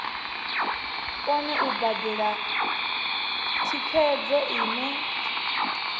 kone u badela thikhedzo ine